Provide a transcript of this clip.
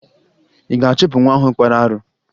Ị ga-achụpụ nwa ahụ kpara arụ?